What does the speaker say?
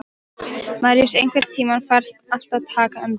Maríus, einhvern tímann þarf allt að taka enda.